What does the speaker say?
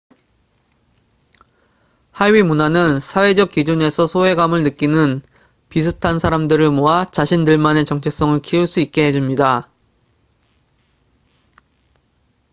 하위문화는 사회적 기준에서 소외감을 느끼는 비슷한 사람들을 모아 자신들만의 정체성을 키울 수 있게 해줍니다